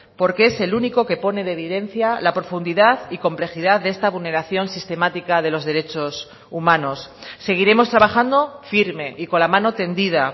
porque es el único que pone de evidencia la profundidad y complejidad de esta vulneración sistemática de los derechos humanos seguiremos trabajando firme y con la mano tendida